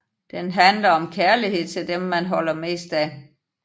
Den handler om kærlighed til dem man holder mest af